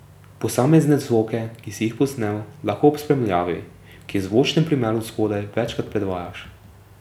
Posamezne zvoke, ki si jih posnel, lahko ob spremljavi, ki je v zvočnem primeru spodaj, večkrat predvajaš.